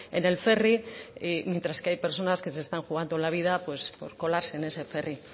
en el ferry mientras que hay personas que se están jugando la vida pues por colarse en ese ferry